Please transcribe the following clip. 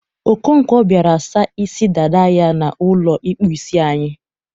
Okonkwo biara sa isi dada ya n'ụlọ ịkpụ isi anyị.